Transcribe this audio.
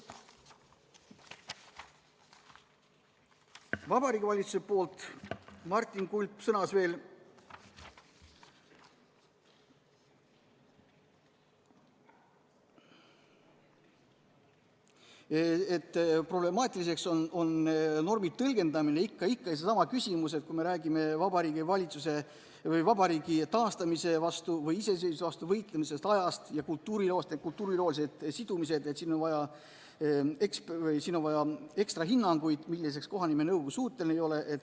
Vabariigi Valitsuse nimel sõnas Martin Kulp, et problemaatiliseks on normi tõlgendamine – ikka seesama küsimus, et kui me räägime vabariigi taastamise või iseseisvuse vastu võitlemise ajast ja kultuuriloolistest sidumistest, siis siin on vaja anda ekstra hinnanguid, milleks kohanimenõukogu suuteline ei ole.